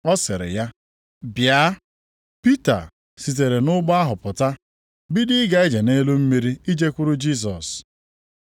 Ọ sịrị ya, “Bịa!” Pita sitere nʼụgbọ ahụ pụta, bido ịga ije nʼelu mmiri ijekwuru Jisọs.